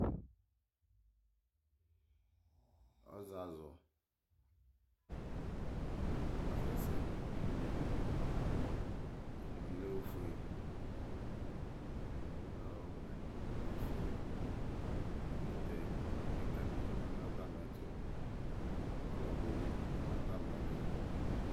Ɔazazʋ asɛ sɛ nʋ une Ɛdɩnɩ lɛ ofue, ɛdɩnɩ bɩ lɛ ɔwɛnofue Ɛkʋtɛ kɩka dɩ bɩ ma nʋ atamɩ ɛtʋ, kʋ ɔlɔdɩ bɩ ya nʋ atamɩ ɛtʋ